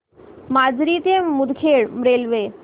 माजरी ते मुदखेड रेल्वे